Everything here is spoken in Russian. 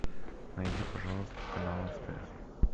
найди пожалуйста канал стс